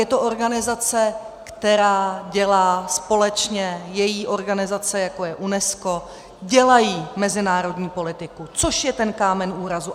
Je to organizace, která dělá společně - její organizace, jako je UNESCO - dělají mezinárodní politiku, což je ten kámen úrazu.